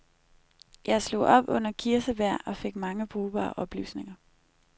Jeg slog op under kirsebær og fik mange brugbare oplysninger.